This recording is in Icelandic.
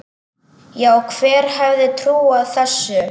Já, hver hefði trúað þessu?